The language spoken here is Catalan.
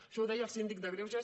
això ho deia el síndic de greuges